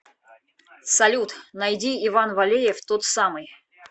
салют найди иван валеев тот самый